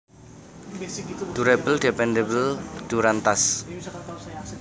Durable Dependable Durantas